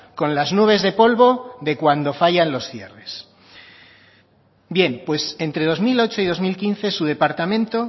con las nubes de polvo de cuando fallan los cierres bien pues entre dos mil ocho y dos mil quince su departamento